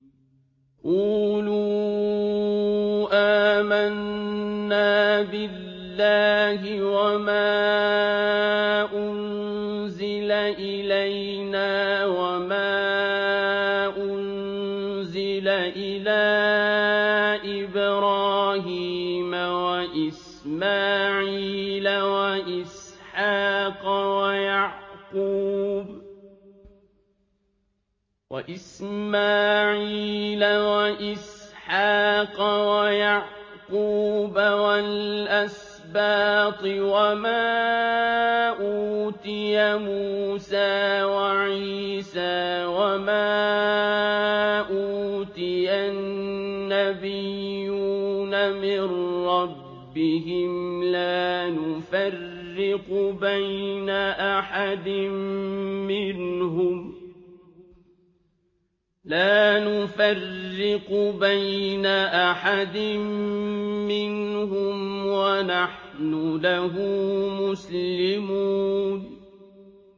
قُولُوا آمَنَّا بِاللَّهِ وَمَا أُنزِلَ إِلَيْنَا وَمَا أُنزِلَ إِلَىٰ إِبْرَاهِيمَ وَإِسْمَاعِيلَ وَإِسْحَاقَ وَيَعْقُوبَ وَالْأَسْبَاطِ وَمَا أُوتِيَ مُوسَىٰ وَعِيسَىٰ وَمَا أُوتِيَ النَّبِيُّونَ مِن رَّبِّهِمْ لَا نُفَرِّقُ بَيْنَ أَحَدٍ مِّنْهُمْ وَنَحْنُ لَهُ مُسْلِمُونَ